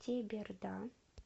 теберда